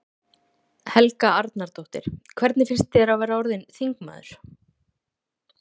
Helga Arnardóttir: Hvernig finnst þér að vera orðinn þingmaður?